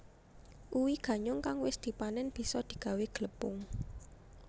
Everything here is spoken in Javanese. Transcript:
Uwi ganyong kang wis dipanén bisa digawé glepung